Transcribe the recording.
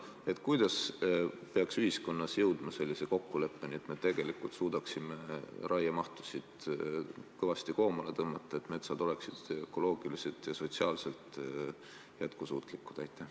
Kuidas peaks ühiskonnas jõudma sellisele kokkuleppele, et me suudaksime raiemahtu kõvasti koomale tõmmata, et metsad oleksid ökoloogiliselt ja sotsiaalselt jätkusuutlikud?